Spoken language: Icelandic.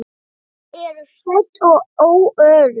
Þau eru hrædd og óörugg.